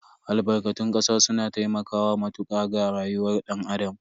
Albarkatun kasa suna taimakawa matuka ga rayuwar dan Adam.